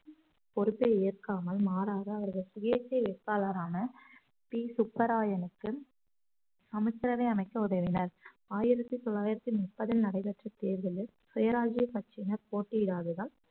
பொறுப்பை ஏற்காமல் மாறாக அவரது சுயேட்சை வேட்பாளரான பி சுப்புராயனுக்கு அமைச்சரவை அமைக்க உதவினார் ஆயிரத்தி தொள்ளாயிரத்தி முப்பதில் நடைபெற்ற தேர்தலில் சுய ராஜ்ய கட்சியினர் போட்டியிடாததால்